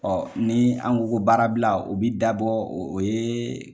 ni an ko ko baara bila o bɛ dabɔ o ye